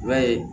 I b'a ye